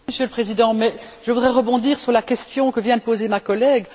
Monsieur le Président, je voudrais rebondir sur la question que vient de poser ma collègue.